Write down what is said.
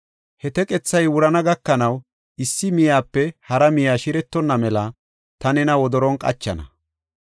He teqethay wurana gakanaw issi miyepe hara miye shiretonna mela ta nena wodoron qachana.